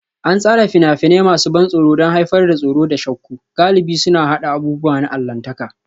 An tsara fina-finai masu ban tsoro don haifar da tsoro da shakku, galibi suna haɗa abubuwa na allahntaka